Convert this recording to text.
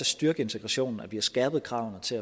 styrke integrationen at vi har skærpet kravene til